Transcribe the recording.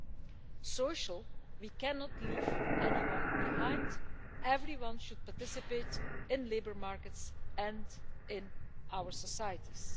At the social level, we cannot leave anyone behind, everyone should participate in labour markets and in our societies.